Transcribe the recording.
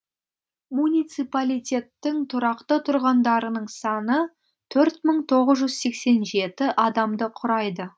муниципалитеттің тұрақты тұрғындарының саны адамды құрайды